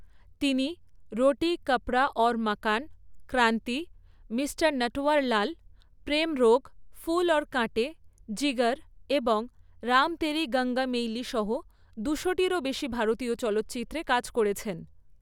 তিনি রোটি কপড়া অউর মকান, ক্রান্তি, মিস্টার নটওয়ারলাল, প্রেম রোগ, ফুল অর কাঁটে, জিগার এবং রাম তেরি গঙ্গা মৈইলি সহ দুশো টিরও বেশি ভারতীয় চলচ্চিত্রে কাজ করেছেন।